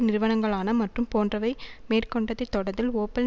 நிறுவனங்களான மற்றும் போன்றவை மேற்கொண்டதை தொடர்ந்து ஓப்பல்